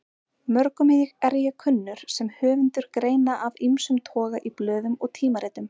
Mörgum er ég kunnur sem höfundur greina af ýmsum toga í blöðum og tímaritum.